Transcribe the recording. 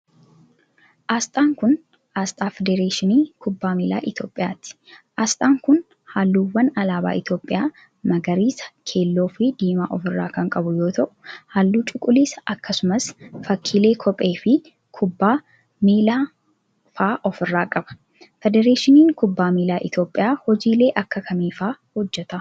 Asxaan kun, asxaa federeeshinii kubbaa miilaa Itoophiyaati. Asxaan kun, haalluuwwan alaabaa Itoophiyaa magariisa, keelloo fi diimaa of irra kan qabu yoo ta'u, haalluu cuquliisa akkasumas fakkiilee kophee fi kubbaa miilaa faa of irraa qaba. Federeeshiniin kubbaa miilaa Itoophiyaa hojiilee aaka kamii faa hojjata?